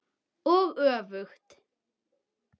Og öfugt.